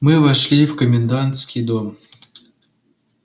мы вошли в комендантский дом